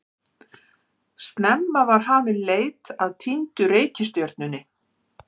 Snemma var hafin leit að týndu reikistjörnunni.